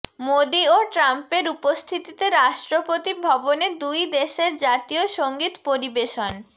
মোদি ও ট্রাম্পের উপস্থিতিতে রাষ্ট্রপতি ভবনে দুই দেশের জাতীয় সংগীত পরিবেশন